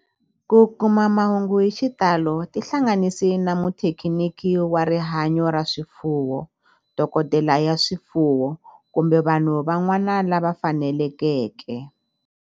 Ku kuma mahungu hi xitalo tihlanganisi na muthekiniki wa rihanyo ra swifuwo, dokodela ya swifuwo, kumbe vanhu van'wana lava fanelekeke.